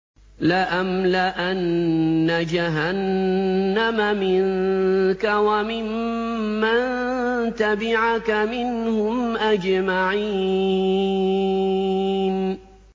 لَأَمْلَأَنَّ جَهَنَّمَ مِنكَ وَمِمَّن تَبِعَكَ مِنْهُمْ أَجْمَعِينَ